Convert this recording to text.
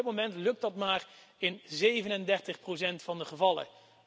Op dit moment lukt dat maar in 37 van de gevallen.